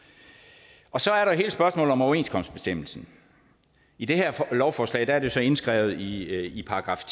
og vognmand så er der hele spørgsmålet om overenskomstbestemmelsen i det her lovforslag er det så indskrevet i §